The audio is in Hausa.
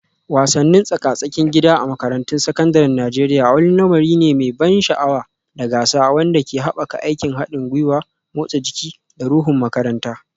Wasannin tsaka-tsakin gida a makarantun sakandaren Najeriya wani lamari ne mai ban sha'awa da gasa wanda ke haɓaka aikin haɗin gwiwa, motsa jiki, da ruhun makaranta.